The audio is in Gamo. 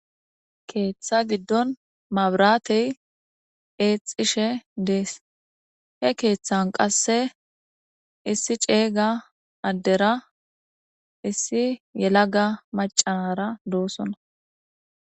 Keeththa giddon mabraatey eexishe dees he keeththan qasse issi ceeyga addera issi yelaga macanara doosona.